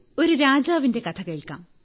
ഒരു രാജാവിന്റെ കഥ കേൾക്കാം